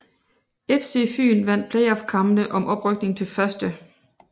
FC Fyn vandt playoffkampene om oprykning til 1